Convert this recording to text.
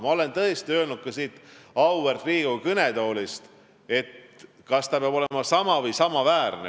Ma olen öelnud ka siit auväärt Riigikogu kõnetoolist, et see peab olema sama või samaväärne.